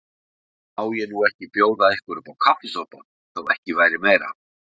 En má ég nú ekki bjóða ykkur uppá kaffisopa, þó ekki væri meira.